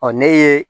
ne ye